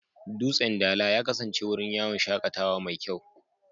Dutsen Dala ya kasance wurin yawon shakatawa mai kyau.